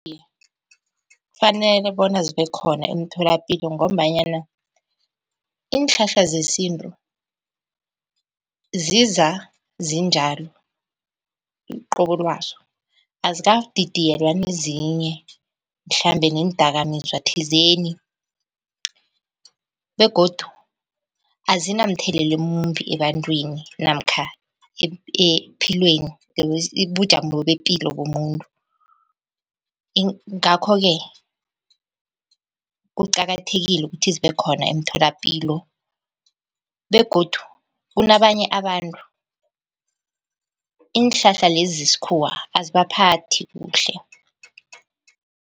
Kufanele bona zibe khona emtholapilo, ngombanyana iinhlahla zesintu ziza zinjalo uqobolwazo azikadidiyelwa nezinye mhlambe neendakamizwa thizeni begodu azinamthelela emumbi ebantwini namkha epilweni ubujamo bepilo bomuntu. Ngakho-ke kuqakathekile ukuthi zibe khona emtholapilo begodu kunabanye abantu iinhlahla lezi zesikhuwa azibaphathi kuhle.